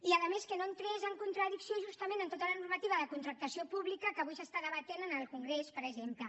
i a més que no entrés en contradicció justament amb tota la normativa de contractació pública que avui s’està debatent en el congrés per exemple